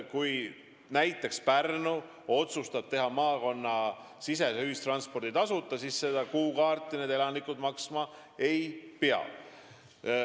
Kui näiteks Pärnu otsustab pakkuda maakonnasisest ühistransporti tasuta, siis elanikud selle kuukaardi eest enam maksma ei pea.